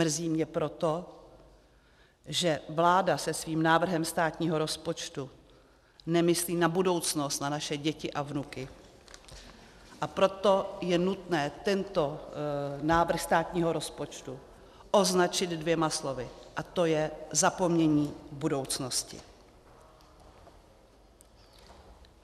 Mrzí mě proto, že vláda se svým návrhem státního rozpočtu nemyslí na budoucnost, na naše děti a vnuky, a proto je nutné tento návrh státního rozpočtu označit dvěma slovy, a to je zapomnění budoucnosti.